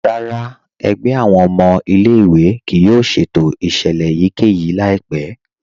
Rárá, ẹ̀gbẹ̀ awọn ọmọ ilẹ̀-ìwé kíì yóò ṣẹ̀tò iṣẹlẹ̀ èyíkẹ́yì laipẹ̀.